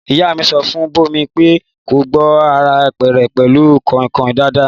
Ìyá mi sọ fun Bómi pẹ kọ gbo àrá rẹ pẹlu kọnkọn dàdà